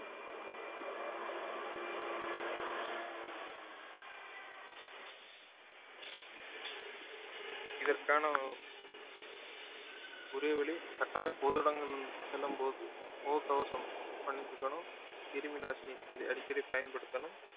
இதற்கான ஒரே வழி கட்டாயம் பொது இடங்கள் செல்லும் போது முக கவசம் அணிந்துக்கணும் கிருமி நாசினி அ~ அடிக்கடி பயன்படுத்தணும்